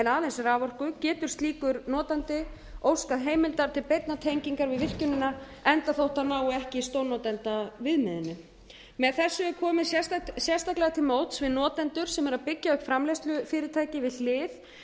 aðeins raforku getur slíkur notandi óskað heimildar til beinnar tengingar við virkjunina enda þótt hann nái ekki stórnotandaviðmiðinu með þessu er komið sérstaklega til móts við notendur sem eru að byggja upp framleiðslufyrirtæki við hlið